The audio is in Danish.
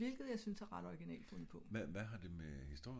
hvilket jeg synes er ret originalt fundet på